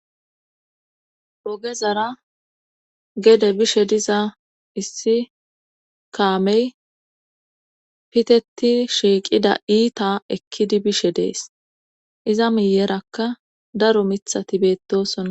ogezara gede bishe diza issi kaamey piteti shiiqida iita ekkidi bishe dees iza miyerakka daro mithati beettosona.